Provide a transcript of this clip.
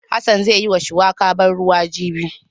Hassan zai yi ma shuwaka ban ruwa jibi.